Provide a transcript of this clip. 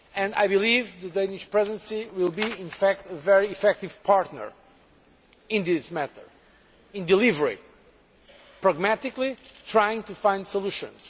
I believe the Danish Presidency will be a very effective partner in this matter, in delivering pragmatically, in trying to find solutions.